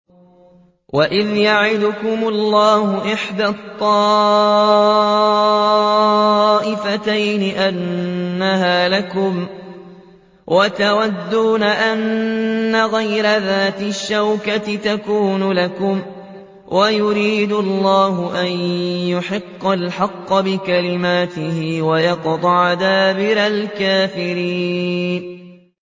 وَإِذْ يَعِدُكُمُ اللَّهُ إِحْدَى الطَّائِفَتَيْنِ أَنَّهَا لَكُمْ وَتَوَدُّونَ أَنَّ غَيْرَ ذَاتِ الشَّوْكَةِ تَكُونُ لَكُمْ وَيُرِيدُ اللَّهُ أَن يُحِقَّ الْحَقَّ بِكَلِمَاتِهِ وَيَقْطَعَ دَابِرَ الْكَافِرِينَ